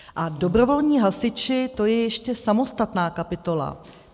A dobrovolní hasiči, to je ještě samostatná kapitola.